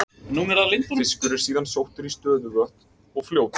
Fiskur er síðan sóttur í stöðuvatn og fljót.